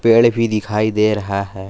पेड़ भी दिखाई दे रहा है।